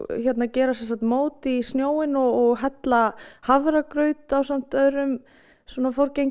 gera mót í snjóinn og hella hafragraut ásamt öðrum